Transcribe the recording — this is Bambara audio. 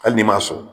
Hali n'i m'a sɔn